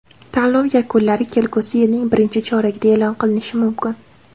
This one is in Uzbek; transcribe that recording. Tanlov yakunlari kelgusi yilning birinchi choragida e’lon qilinishi mumkin.